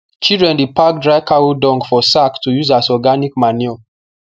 children dey pack dry cow dung for sack to use as organic manure